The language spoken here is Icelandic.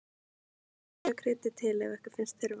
Smakkið og kryddið til ef ykkur finnst þurfa.